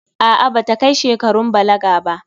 A'a, ba ta kai shekarun balaga ba.